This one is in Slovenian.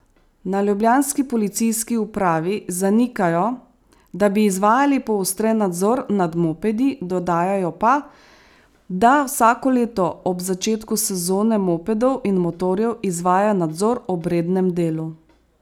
Na ljubljanski policijski upravi zanikajo, da bi izvajali poostren nadzor nad mopedi, dodajajo pa, da vsako leto ob začetku sezone mopedov in motorjev izvajajo nadzor ob rednem delu.